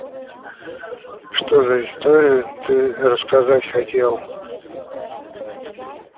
что за историю ты рассказать хотел